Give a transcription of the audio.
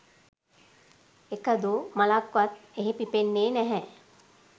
එකදු මලක්වත් එහි පිපෙන්නේ නැහැ.